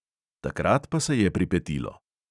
Takrat pa se je pripetilo.